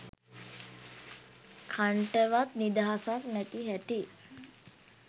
කන්ටවත් නිදහසක් නැති හැටි.